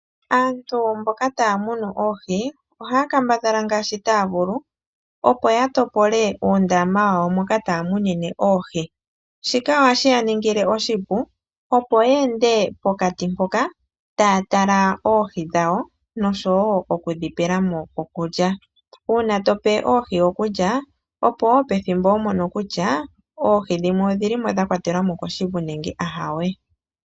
Aantu mboka taya munu oohi ohaya kambadhala ngaashi taya vulu opo ya topole oondama moka taya munine oohi. Shika ohashi ya ningile oshipu opo ya ende pokati mpoka ta ya tala oohi dhawo , nosho wo oku dhi pela mo okulya. Uuna to pe oohi okulya, opo wo pethimbo ho mono kutya oohi dhimwe odhi limo dha kwatelwa mo koshivu nenge aawe.